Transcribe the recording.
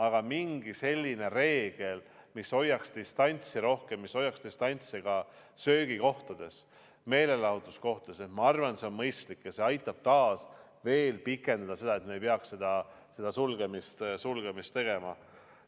Aga mingi selline reegel, mis hoiaks rohkem distantsi, mis hoiaks distantsi ka söögikohtades, meelelahutuskohtades, ma arvan, et see on mõistlik ja aitab pikendada seda aega, mil me ei pea seda sulgemist tegema.